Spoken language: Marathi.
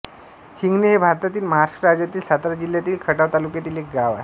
हिंगणे हे भारतातील महाराष्ट्र राज्यातील सातारा जिल्ह्यातील खटाव तालुक्यातील एक गाव आहे